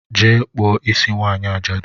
Jee kpụọ isi nwanyị ajadu!